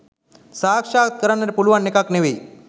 සාක්ෂාත් කරන්නට පුළුවන් එකක් නෙවෙයි.